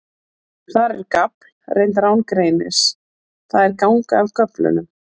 Þar er gafl reyndar án greinis, það er ganga af göflum.